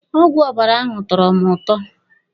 Ọgwụ ọbara ahụ tọrọ mụ ụtọ.